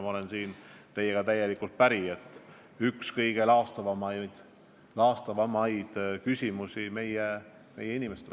Ma olen teiega täielikult päri, et tegu on ühe kõige laastavama probleemiga meie inimestele.